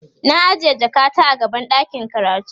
na ajiye jakata a gaban ɗakin karatu